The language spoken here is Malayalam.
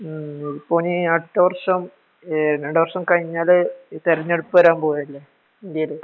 മു് ഇപ്പൊ ഇനി അടുത്ത വർഷം ഏഹ് രണ്ടു വര്ഷം കഴിഞ്ഞാല് തിരഞ്ഞെടുപ്പ് വരാൻ പോവല്ലേ ഇൻഡ്യയേല് ?